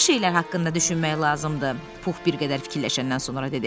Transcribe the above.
Yaxşı şeylər haqqında düşünmək lazımdır, Pux bir qədər fikirləşəndən sonra dedi.